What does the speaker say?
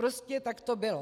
Prostě tak to bylo.